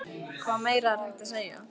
Hvað meira er hægt að segja?